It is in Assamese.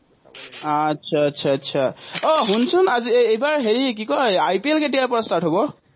আটচা আটচা আটচা, আহ শুনচোন আজি এইবাৰ হেৰি এৰ কি কয়, এই IPL কেতিয়াৰপৰা start হ'ব?